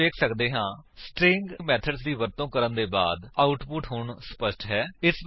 ਅਸੀ ਵੇਖ ਸੱਕਦੇ ਹਾਂ ਕਿ ਸਟਰਿੰਗ ਮੇਥਡ ਦੀ ਵਰਤੋ ਕਰਨ ਦੇ ਬਾਅਦ ਆਉਟਪੁਟ ਹੁਣ ਸਪੱਸ਼ਟ ਹੈ